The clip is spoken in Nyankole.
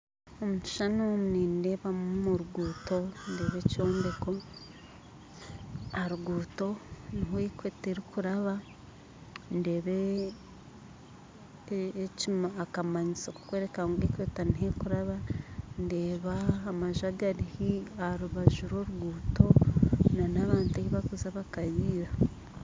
Omu kishuushani omu nindeebamu oruguuto nindeeba ekyombeko aha ruguuto niho equator erikuraba ndeeba akamanyiso kokwereka ngu equator niho erikuraba ndeeba amanju agari aharubaju rw'oruguuto n'abantu ei bakuza bakarira